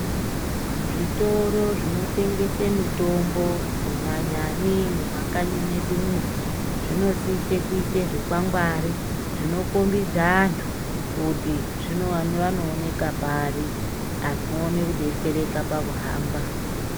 Zvitoro zvinotengese mitombo kunyanyani mumakanyi mwedumo, zvinosise kuyise zvikwangwari, zvino kombedza antu kuti zvino-vanoonekwa pari ,antu vowone kudetsereka pakuhamba.